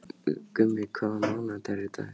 Gummi, hvaða mánaðardagur er í dag?